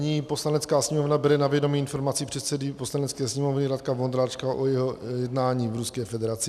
Zní: "Poslanecká sněmovna bere na vědomí informaci předsedy Poslanecké sněmovny Radka Vondráčka o jeho jednání v Ruské federaci.